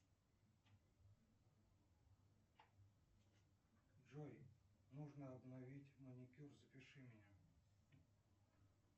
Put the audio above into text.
джой нужно обновить маникюр запиши меня